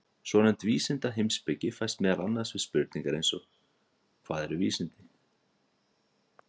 Svonefnd vísindaheimspeki fæst meðal annars við spurningar eins og Hvað eru vísindi?